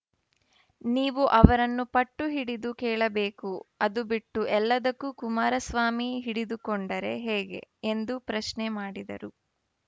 ನೀವು ಅವರನ್ನು ಪಟ್ಟು ಹಿಡಿದು ಕೇಳಬೇಕು ಅದು ಬಿಟ್ಟು ಎಲ್ಲದಕ್ಕೂ ಕುಮಾರಸ್ವಾಮಿ ಹಿಡಿದುಕೊಂಡರೆ ಹೇಗೆ ಎಂದು ಪ್ರಶ್ನೆ ಮಾಡಿದರು